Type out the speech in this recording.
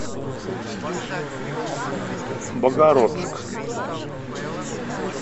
богородск